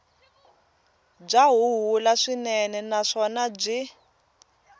bya huhula swinene naswona byi